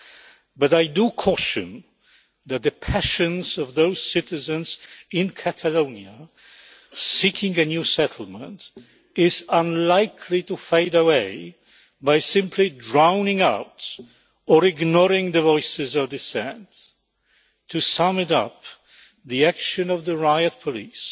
However, I do caution that the passions of those citizens in Catalonia seeking a new settlement is unlikely to fade away by simply drowning out or ignoring the voices of dissent. To sum it up, the action of the riot police,